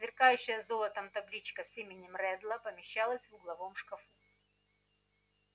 сверкающая золотом табличка с именем реддла помещалась в угловом шкафу